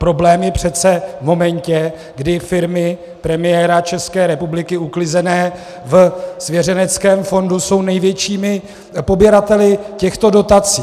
Problém je přece v momentě, kdy firmy premiéra České republiky uklizené ve svěřeneckém fondu jsou největšími poběrateli těchto dotací.